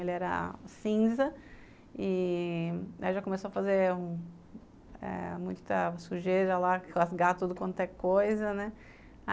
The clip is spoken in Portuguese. Ele era cinza e... já começou a fazer um... muita sujeira lá, rasgar tudo quanto é coisa, né?